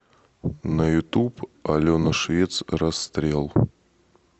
на ютуб алена швец расстрел